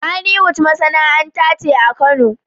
Kaniwood masanaanta ce akano